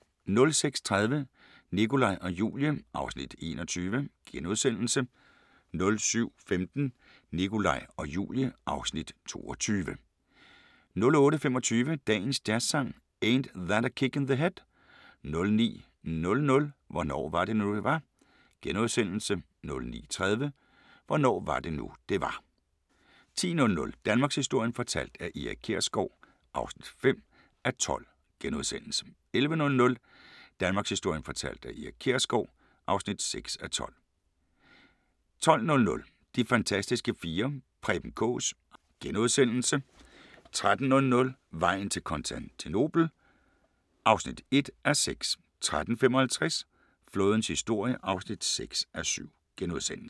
06:30: Nikolaj og Julie (Afs. 21)* 07:15: Nikolaj og Julie (Afs. 22) 08:25: Dagens Jazzsang: Ain't That a Kick in the Head 09:00: Hvornår var det nu det var * 09:30: Hvornår var det nu det var 10:00: Danmarkshistorien fortalt af Erik Kjersgaard (5:12)* 11:00: Danmarkshistorien fortalt af Erik Kjersgaard (6:12) 12:00: De fantastiske fire: Preben Kaas * 13:00: Vejen til Konstantinopel (1:6) 13:55: Flådens historie (6:7)*